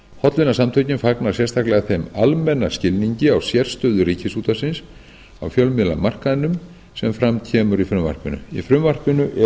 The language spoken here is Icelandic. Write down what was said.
hollvinasamtökin fagna sérstaklega þeim almenna skilningi á sérstöðu ríkisútvarpsins á fjölmiðlamarkaðnum sem fram kemur í frumvarpinu í frumvarpinu eru